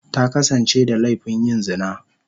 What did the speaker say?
Ta kasance da laifin yin zina.